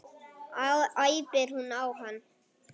æpir hún á hann.